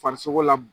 Farisogo la